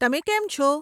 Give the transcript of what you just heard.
તમે કેમ છો?